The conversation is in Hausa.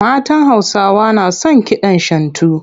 Matan Hausawa na son kidan Shantu.